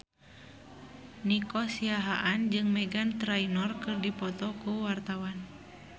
Nico Siahaan jeung Meghan Trainor keur dipoto ku wartawan